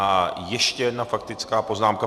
A ještě jedna faktická poznámka.